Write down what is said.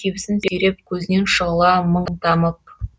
кебісін сүйреп көзінен шұғыла мың тамып